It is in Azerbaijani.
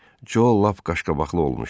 Joe lap qaşqabaqlı olmuşdu.